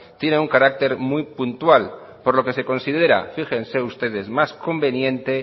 tiene un carácter muy puntual por lo que se considera fíjense ustedes más conveniente